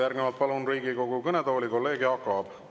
Järgnevalt palun Riigikogu kõnetooli kolleeg Jaak Aabi.